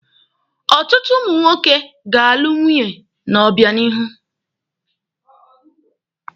Ọtụtụ ụmụ nwoke ga-alụ nwunye n'obịanihu.